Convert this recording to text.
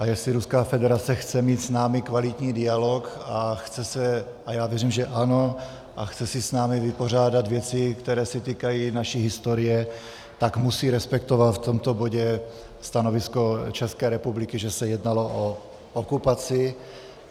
A jestli Ruská federace chce mít s námi kvalitní dialog a chce se - a já věřím, že ano - a chce si s námi vypořádat věci, které se týkají naší historie, tak musí respektovat v tomto bodě stanovisko České republiky, že se jednalo o okupaci.